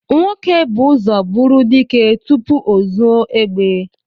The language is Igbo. Nwoke bú ụzọ bụrụ dike tupu ọ zụọ egbe